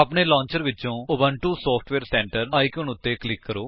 ਆਪਣੇ ਲੌਂਚਰ ਵਿਚੋਂ Ubuntu software centre icon ਉੱਤੇ ਕਲਿਕ ਕਰੋ